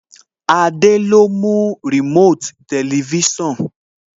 Adé ló mú Remote Tẹlifísàn